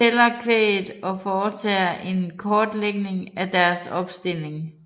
Tæller kvæget og foretager en kortlægning af deres opstilling